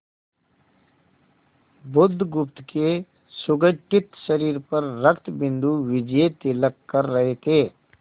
बुधगुप्त के सुगठित शरीर पर रक्तबिंदु विजयतिलक कर रहे थे